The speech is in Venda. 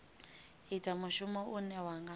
ita mushumo une wa nga